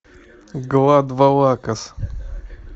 глад валакас